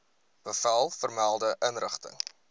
bevel vermelde inrigting